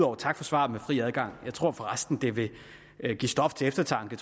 og tak for svaret med fri adgang jeg tror for resten at det vil give stof til eftertanke